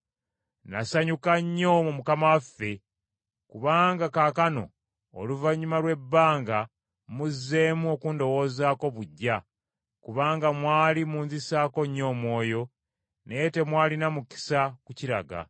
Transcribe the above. Nasanyuka nnyo mu Mukama waffe, kubanga kaakano oluvannyuma lw’ebbanga muzzeemu okundowoozaako buggya, kubanga mwali munzisaako nnyo omwoyo, naye temwalina mukisa ku kiraga.